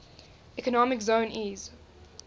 economic zone eez